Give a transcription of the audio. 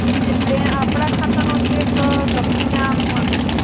એટ્લે આપડા ખાતા નો ચેક લાખિને આપ્વાનો.